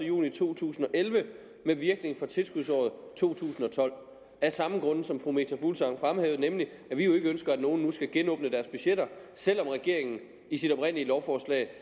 juni to tusind og elleve med virkning fra tilskudsåret to tusind og tolv af samme grund som fru meta fuglsang fremhævede nemlig at vi jo ikke ønsker at nogen nu skal genåbne deres budgetter selv om regeringen i sit oprindelige lovforslag